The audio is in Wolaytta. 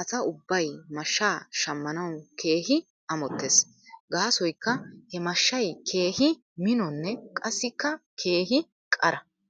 asa ubbay mashshaa shamanaw keehi amotees. Gaasoykka he mashshay keehi minonne qassikka keehi qara.